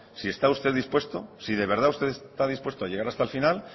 si usted está dispuesto si de verdad usted está dispuesto a llegar hasta el final